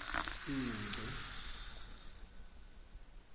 ingci